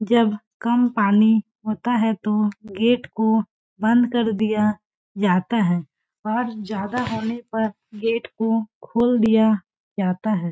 जब कम पानी होता है तो गेट को बंद कर दिया जाता है और ज्यादा होने पर गेट को खोल दिया जाता है।